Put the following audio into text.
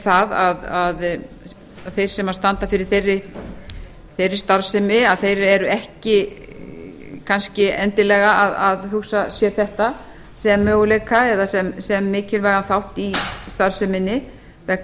það að þeir sem standa fyrir þeirri starfsemi eru ekki kannski endilega að hugsa sér þetta sem möguleika eða se mikilvægan þátt í starfseminni vegna